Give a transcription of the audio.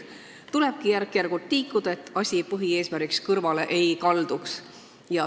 Tulebki järk-järgult edasi liikuda ja põhieesmärgist mitte kõrvale kalduda.